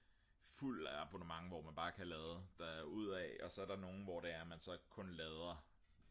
fuld abonnement hvor man bare kan lade derud af og så er der nogen hvor det er at man så kun lader